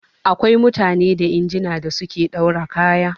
Da akwai mutane da injina da suke ɗaura kaya